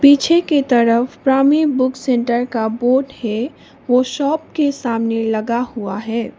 पीछे की तरफ प्रामी बुक सेंटर का बोर्ड है वो शॉप के सामने लगा हुआ है।